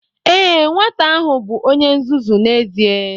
Ee, nwata ahụ bụ onye nzuzu n'ezie